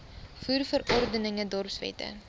voer verordeninge dorpswette